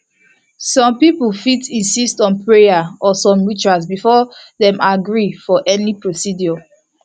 some people fit insist on prayer or some rituals before dem agree for any procedure